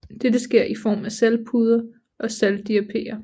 Dette sker i form af saltpuder og saltdiapirer